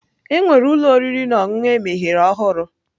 Enwere ụlọ oriri na ọṅụṅụ emeghere ọhụrụ.